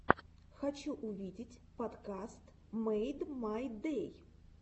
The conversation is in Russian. хочу увидеть подкаст мэйдмайдэй